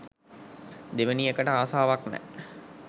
දෙවෙනි එකට ආසාවක් නෑ.